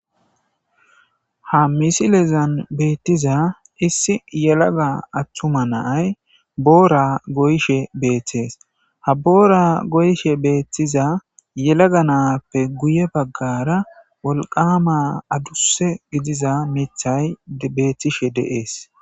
Ha misilezan betiza issi yelaga atuma na'ay boora goyishe betes. Ha boora goyiza na'appe guye bagara wolqama adduse gididza mithay betishe de'es.